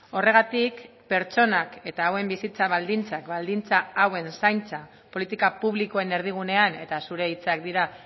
horregatik pertsonak eta hauen bizitza baldintzak baldintza hauen zaintza politika publikoen erdigunean eta zure hitzak dira